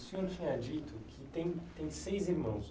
O senhor tinha dito que tem seis irmãos